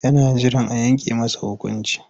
Yana jiran a yanke masa hukunci.